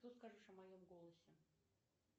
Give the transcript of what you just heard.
что скажешь о моем голосе